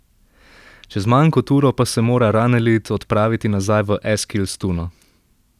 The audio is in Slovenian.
Čez manj kot uro pa se mora Ranelid odpraviti nazaj v Eskilstuno.